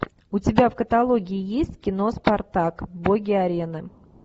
у тебя в каталоге есть кино спартак боги арены